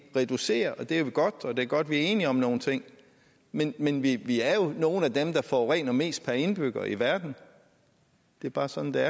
reducerer og det er jo godt og det er godt at vi er enige om nogle ting men men vi er jo nogle af dem der forurener mest per indbygger i verden det er bare sådan det er